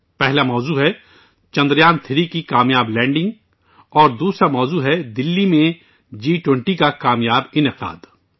پہلا موضوع چندریان3 کی کام یاب لینڈنگ اور دوسرا موضوع دہلی میں جی20 کا کام یاب انعقاد ہے